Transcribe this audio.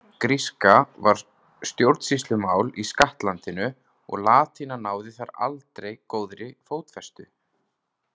Gríska var stjórnsýslumál í skattlandinu og latína náði þar aldrei góðri fótfestu.